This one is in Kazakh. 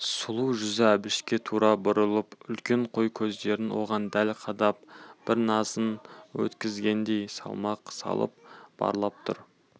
сұлу жүзі әбішке тура бұрылып үлкен қой көздерін оған дәл қадап бір назын өткізгендей салмақ салып барлап тұр